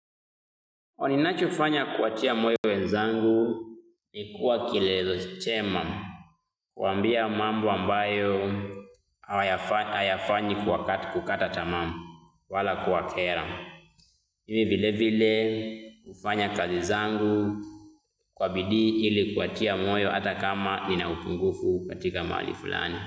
Ninachofanya kuachia moyo wenzangu ni kuwa kilelezo chema kuambia mambo ambayo hayafanyi kwa kukata tamaa wala kuwakera. Mimi vile vile hufanya kazi zangu kwa bidii ili kuwatia moyo ata kama nina upungufu katika mahali fulani.